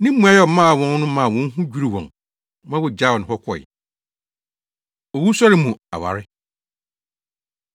Ne mmuae a ɔmaa wɔn no maa wɔn ho dwiriw wɔn ma wogyaw no hɔ kɔe. Owusɔre Mu Aware